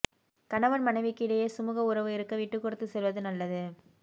கணவன் மனைவிக்கிடையே சுமூக உறவு இருக்க விட்டு கொடுத்து செல்வது நல்லது